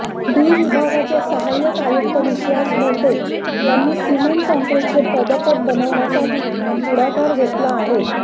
D विभागाचे सहाय्यक आयुक्त विश्वास मोटे यांनी सिमेंट काँक्रिटचे पदपथ बनवण्यासाठी पुढाकार घेतला आहे